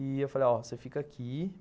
E eu falei, ó, você fica aqui.